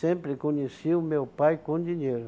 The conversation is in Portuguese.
Sempre conhecia o meu pai com dinheiro.